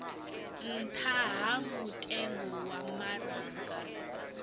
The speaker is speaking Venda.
nṱha ha mutengo wa maraga